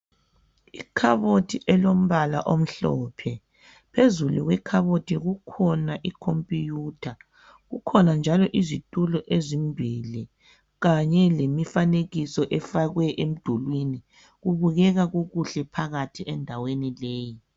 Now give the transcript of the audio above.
Ikhabothi elombala omhlophe phezulu kwekhabothi kukhona ikhompuyutha kukhona njalo izitulo ezimbili kanye lemifanekiso efakwe emdulwini kubukeka kukuhle phakathi endaweni leyi.